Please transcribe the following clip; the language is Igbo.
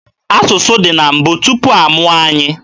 Asụsụ dị na mbụ, tupu amụọ anyị.